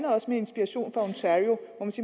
også med inspiration fra ontario